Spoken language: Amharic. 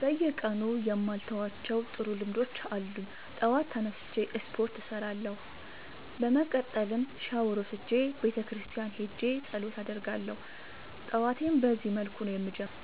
በየቀኑ የማልተዋቸው ጥሩ ልምዶች አሉኝ ጠዋት ተነስቼ ስፓርት እሰራለሁ። በመቀጠልም ሻውር ወስጄ ቤተክርስቲያን ሄጄ ፀሎት አደርጋለሁ ጠዋቴን በዚህ መልኩ ነው የምጀምረው።